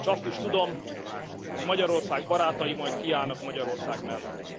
s azt is tudom, hogy Magyarország barátai majd kiállnak Magyarország mellett.